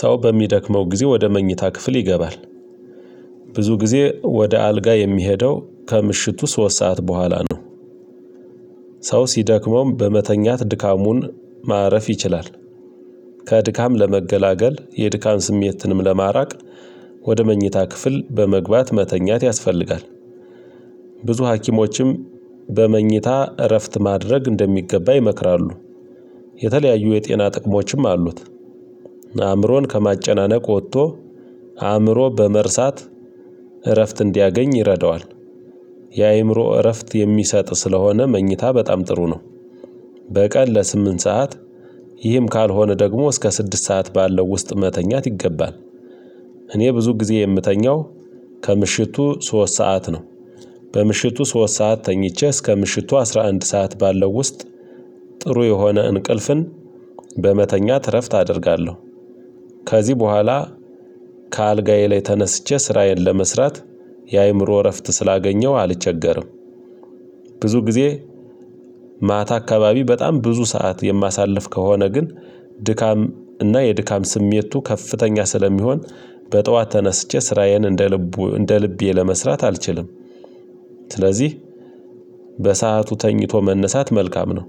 ሰው በሚደክመው ጊዜ ወደ መኝታ ክፍል ይገባል። ብዙ ጊዜ ወደ አልጋ የምሄደው ከምሽቱ ሶስት ሰዓት በኋላ ነው። ሰው ሲደክመውም በመተኛት ድካሙን ማረፍ ይችላል። ከድካም ለመገላገል የድካም ስሜትንም ለማራቅ ወደ መኝታ ክፍል በመግባት መተኛት ያስፈልጋል። ብዙ ሀኪሞችም በመኝታ እረፍት ማድረግ እንደሚገባ ይመክራሉ። የተለያዩ የጤና ጥቅሞችም አሉት። አእምሮን ከማጨናነቅ ወጥቶ አእምሮ በመርሳት እረፍት እንዲያገኝ ይረዳዋል። የአእምሮ እረፍት የሚሰጥ ስለሆነ መኝታ በጣም ጥሩ ነው። በቀን ለስምንት ሰዓት ይህም ካልሆነ ደግሞ እስከ ስድስት ሰዓት ባለው ውስጥ መተኛት ይገባል። እኔ ብዙ ጊዜ የምተኛው ከምሽቱ ሶስት ሰዓት ነው። በምሽቱ ሶስት ሰዓት ተኝቼ እስከ ምሽቱ አስራ አንድ ሰዓት ባለው ውስጥ ጥሩ የሆነ እንቅልፍን በመተኛት እረፍት አደርጋለሁ። ከዚህ በኋላ ከአልጋዬ ላይ ተነስቼ ስራዬን ለመስራት የአእምሮ እረፍት ስላገኘሁ አልቸገርም። ብዙ ጊዜ ማታ አካባቢ በጣም ብዙ ሰዓት የማሳልፍ ከሆነ ግን ድካም እና የድካም ስሜቱ ከፍተኛ ስለሚሆን በጠዋት ተነስቼ ስራዬን እንደ ልቡ እንደ ልቤ ለመስራት አልችልም። ስለዚህ በሰአቱ ተኝቶ መነሳት መልካም ነው።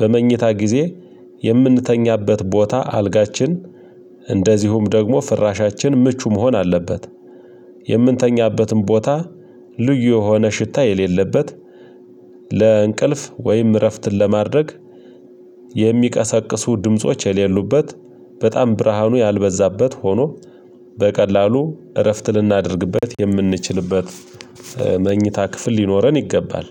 በመኝታ ጊዜ የምንተኛበት ቦታ አልጋችን እንደዚሁም ደግሞ ፍራሻችን ምቹ መሆን አለበት። የምንተኛበትን ቦታ ልዩ የሆነ ሽታ የሌለበት ለእንቅልፍ ወይም እረፍትን ለማድረግ የሚቀሰቅሱ ድምጾች የሌሉበት በጣም ብርሃኑ ያልበዛበት ሆኖ በቀላሉ እረፍት ልናደርግበት የምንችልበት መኝታ ክፍል ሊኖረን ይገባል።